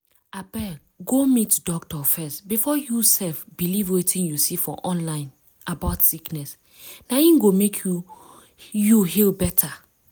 abeg go meet doctor first before you sef believe wetin you see for online about sickness. na im go mek you you heal better.